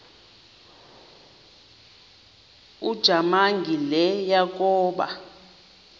ujamangi le yakoba